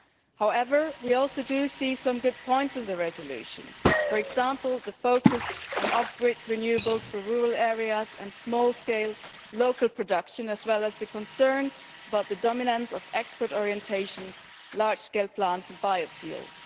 However, we also see some good points in the resolution for example, the focus on off grid renewables for rural areas and small scale local production, as well as the concern about the dominance of export orientation, large scale plants and bio fuels.